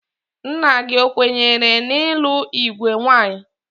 Nna gị ekwenyere n ịlụ igwe nwaanyị?